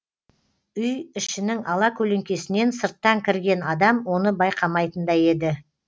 үй ішінің алакөлеңкесінен сырттан кірген адам оны байқамайтындай еді